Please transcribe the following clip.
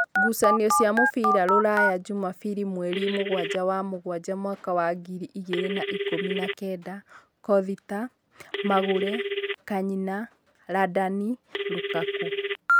Ngucanio cia mũbira Ruraya Jumabiri mweri mũgwanja wa mũgwanja mwaka wa ngiri igĩrĩ na ikũmi nakenda: Kothita, Magũre, Kanyina, Randani, Rukaku